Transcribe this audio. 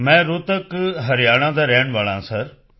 ਮੈਂ ਰੋਹਤਕ ਹਰਿਆਣਾ ਦਾ ਰਹਿਣ ਵਾਲਾ ਹਾਂ ਸਰ